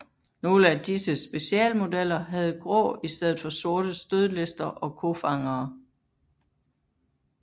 Nogle af disse specialmodeller havde grå i stedet for sorte stødlister og kofangere